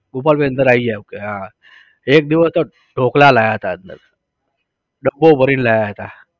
ગોપાલભાઈ અંદર આવી જાવ આપણે હા. એક દિવસ તો ઢોકળા લાવ્યા હતા અંદર. દબ્બ્બો ભરીને લાવ્યા હતા